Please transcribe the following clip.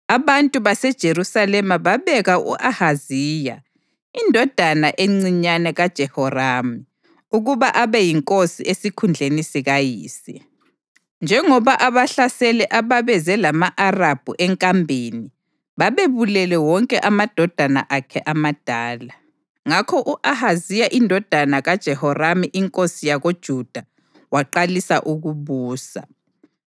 Abantu baseJerusalema babeka u-Ahaziya, indodana encinyane kaJehoramu, ukuba abe yinkosi esikhundleni sikayise, njengoba abahlaseli ababeze lama-Arabhu enkambeni, babebulele wonke amadodana akhe amadala. Ngakho u-Ahaziya indodana kaJehoramu inkosi yakoJuda waqalisa ukubusa.